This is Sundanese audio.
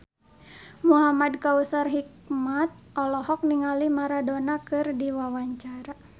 Muhamad Kautsar Hikmat olohok ningali Maradona keur diwawancara